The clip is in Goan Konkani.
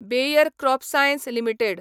bear CropScience limited